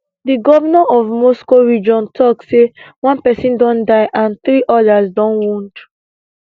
di govnor of moscow region tok say one pesin don die and three odas don wound